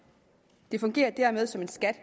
det fungerer dermed som en skat